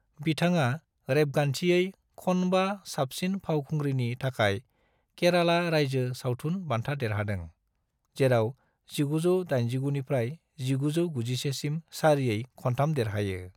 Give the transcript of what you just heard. बिथाङा रेबगान्थियै खन्बा साबसिन फावखुंग्रिनि थाखाय केराला रायजो सावथुन बान्था देरहादों, जेराव 1989 निफ्राय 1991 सिम सारियै खन्थाम देरहायो।